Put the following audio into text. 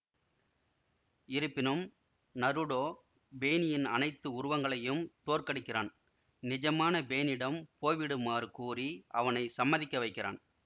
இருப்பினும் நருடோ பெயினின் அனைத்து உருவங்களையும் தோற்கடிக்கிறான் நிஜமான பெயினிடம் போய்விடுமாறு கூறி அவனை சம்மதிக்க வைக்கிறான்